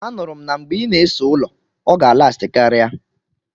Anuru m na mgbe ị na-ese ụlọ, ọ ga alasti karia.